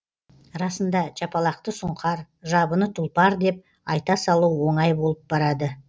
расында жапалақты сұңқар жабыны тұлпар деп айта салу оңай болып барады